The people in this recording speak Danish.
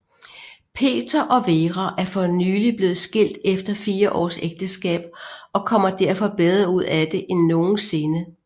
Peter og Vera er fornylig blevet skilt efter fire års ægteskab og kommer derfor bedre ud af det end nogensinde